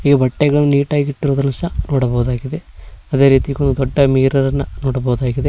ಈ ಬಟ್ಟೆಗಳನ್ನು ನೀಟಾಗಿ ಇಟ್ಟಿರುವುದನ್ನು ನೋಡಬಹುದಾಗಿದೆ ಅದೇ ರೀತಿ ಮಿರರ್ ಇರುವುದನ್ನು ನೋಡಬಹುದಾಗಿದೆ.